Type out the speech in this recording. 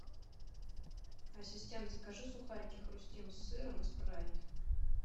ассистент закажи сухарики хрустим с сыром и спрайт